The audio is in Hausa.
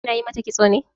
Kina yi mata kitso ne?